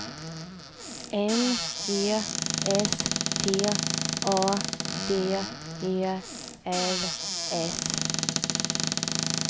M E S T A D E L S